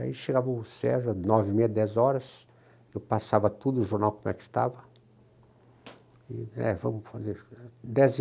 Aí chegava o Sérgio, à nove e meia, dez horas, eu passava tudo, o jornal como é que estava, é vamos fazer i. Dez e